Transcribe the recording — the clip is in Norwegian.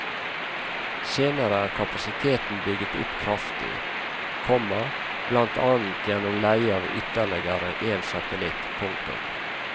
Senere er kapasiteten bygget opp kraftig, komma blant annet gjennom leie av ytterligere en satellitt. punktum